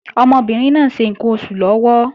Ọmọbìnrin náà ń ṣe ǹkan oṣù lọ́wọ́